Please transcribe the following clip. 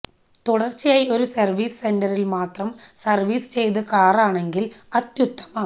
തുടർച്ചയായി ഒരു സർവീസ് സെന്ററിൽ മാത്രം സർവീസ് ചെയ്ത കാറാണെങ്കിൽ അത്യുത്തമം